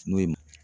N'o ye mɔ